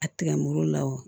A tigɛ muru la wa